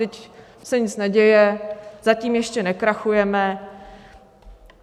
Vždyť se nic neděje, zatím ještě nekrachujeme.